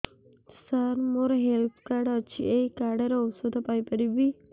ସାର ମୋର health card ଅଛି ଏହି କାର୍ଡ ରେ ଔଷଧ ପାଇପାରିବି